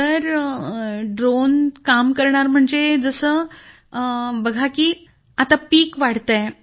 sir drone काम करणार म्हणजे जसं बघा की आता पीक वाढतंय